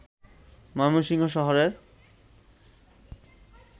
ময়মনসিংহ শহরের